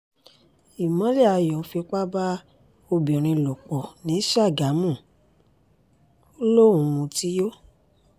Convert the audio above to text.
ìmọ́lẹ́yàyò fipá bá obìnrin lò pọ̀ ní sàgámù ò lóun mutí yó ni